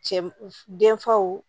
Cɛ denfaw